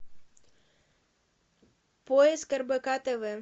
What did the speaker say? поиск рбк тв